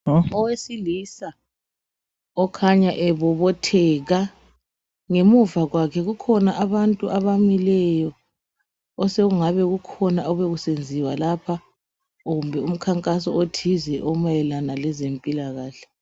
Owesilisa okhanya ebobotheka ngemuva kwakhe kukhona abantu abamileyo osekungabe kukhona obekusenziwa lapha kumbe umkhankaso othize omayelana lezempilakahle.